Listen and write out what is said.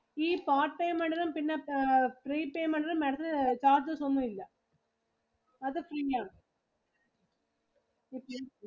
ഈ part payment ഇലും പിന്നെ prepayment ഇലും Madam ത്തിന് charges ഒന്നും ഇല്ല അത് free ആണ് Okay